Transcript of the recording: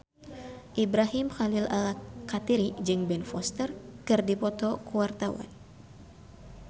Ibrahim Khalil Alkatiri jeung Ben Foster keur dipoto ku wartawan